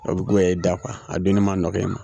O be goya i da kuwa a dunni ma nɔgɔ i ma